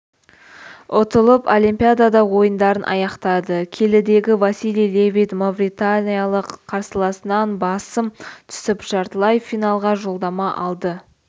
ұтылып олимпидада ойындарын аяқтады келідегі василий левит мавританиялық қарсыласынан басым түсіп жартылай финалға жолдама алды